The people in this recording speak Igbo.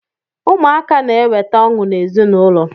Ụmụaka na-eweta ọṅụ n'ezinụlọ